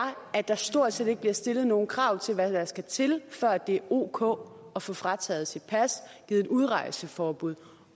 at der stort set ikke bliver stillet nogen krav til hvad der skal til før det er ok at få frataget sit pas givet et udrejseforbud